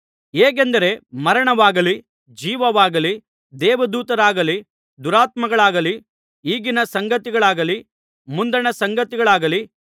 ಹೇಗೆಂದರೆ ಮರಣವಾಗಲಿ ಜೀವವಾಗಲಿ ದೇವದೂತರಾಗಲಿ ದುರಾತ್ಮಗಳಾಗಲಿ ಈಗಿನ ಸಂಗತಿಗಳಾಗಲಿ ಮುಂದಣ ಸಂಗತಿಗಳಾಗಲಿ